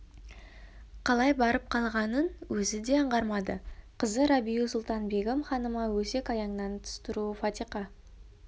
қалай барып қалғанын өзі де аңғармады қызы рабиу-сұлтан-бегім ханым өсек-аяңнан тыс тұруы фатиқа